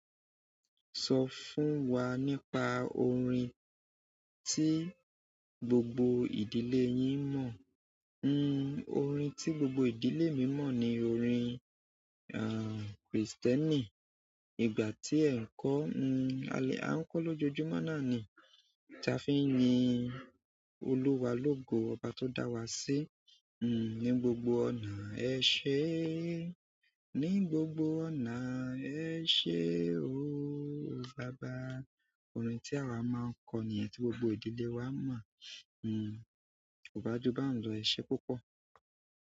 Sọ fún wa nípa orin tí gbogbo ìdílé yín mọ̀. Hmmm, orin tí gbogbo ìdílé mi mọ̀ ni orin, aah, Kristẹni. Ìgbà tí ẹ̀ ń kọ́, hmmm, a le, a ń kọ lójoojúmọ́ náà ni. Ta fi ń yin olúwa, lógo ọba tó dá wa sí. Hmmm, ní gbogbo ọ̀nà ẹ ṣé, ní gbogbo ọ̀nà ẹ ṣé ooo baba. Orin tí awa máa ń kọ níyen tí gbogbo ìdílé wa mọ̀. Hmm, kò bá ju bá ń lo ẹsẹ púpọ̀.